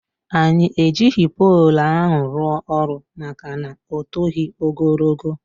Anyị ejighị poolụ ahụ rụọ ọrụ maka na ọ toghi ogologo.